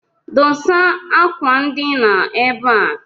Dosa akwandina ebe a!